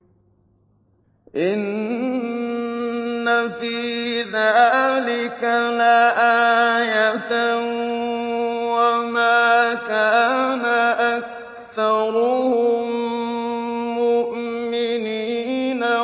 إِنَّ فِي ذَٰلِكَ لَآيَةً ۖ وَمَا كَانَ أَكْثَرُهُم مُّؤْمِنِينَ